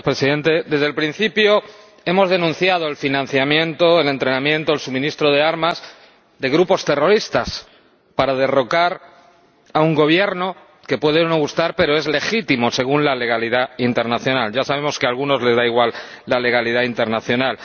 Señor Presidente, desde el principio hemos denunciado la financiación, el entrenamiento, el suministro de armas a grupos terroristas para derrocar a un Gobierno que puede o no gustar, pero es legítimo según la legalidad internacional. Aunque ya sabemos que a algunos les da igual la legalidad internacional.